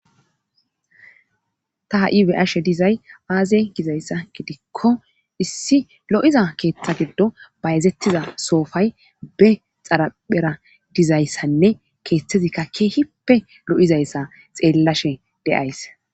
Ta ha7i be7ashe duzay aaze gizayssa gidikko issi lo7iza keetha giddo bayzettida soofay be xaraphera dizayssanne keethazikka keehipppe lo7izayssa xeelashe de7ays